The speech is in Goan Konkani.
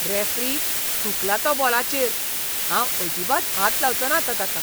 रॅफ्री, थुंकला तो बॉलाचेर. हांव अजिबात हात लावचोंना आतां ताका.